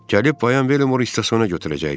Gəlib Bayan Bellimor stasiyona götürəcəkdi.